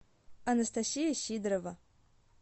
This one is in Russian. анастасия сидорова